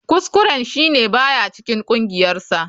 Kuskuren shi ne ba ya cikin kungiyarsa.